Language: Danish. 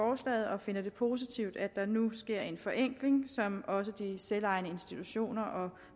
og finder det positivt at der nu sker en forenkling som også de selvejende institutioner og